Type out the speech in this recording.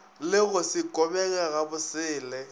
le go se kobege gabosele